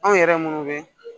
Anw yɛrɛ munnu bɛ